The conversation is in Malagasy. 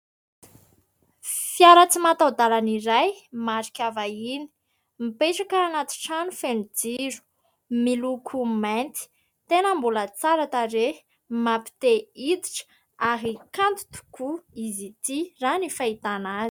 Fiara tsy mataho-dàlana iray marika vahiny. Mipetraka anaty trano feno jiro, miloko mainty, tena mbola tsara tarehy, mampite hiditra ary kanto tokoa izy ity raha ny fahitana azy.